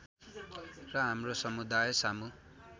र हाम्रो समुदायसामु